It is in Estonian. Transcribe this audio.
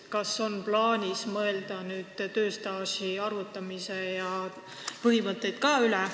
Kas on plaanis tööstaaži arvutamise põhimõtteid muuta?